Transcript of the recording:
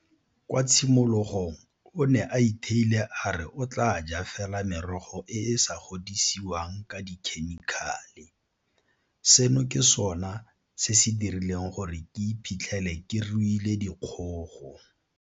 Kwa tshimologong o ne a itheile a re o tla jala fela merogo e e sa godisiweng ka dikhemikhale. Seno ke sona se se dirileng gore ke iphitlhele ke ruile dikgogo.